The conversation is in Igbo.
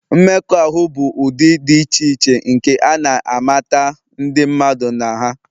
Mmekọahụ bụ ụdị dị iche iche nke a na-amata ndị mmadụ na ha.